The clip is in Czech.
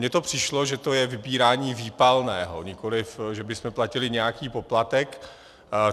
Mně to přišlo, že to je vybírání výpalného, nikoliv že bychom platili nějaký poplatek.